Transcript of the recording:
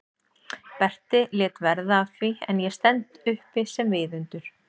Berti lét verða af því en ég stend uppi sem viðundur?